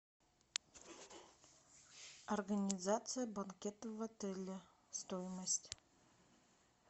организация банкета в отеле стоимость